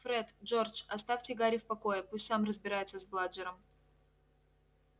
фред джордж оставьте гарри в покое пусть сам разбирается с бладжером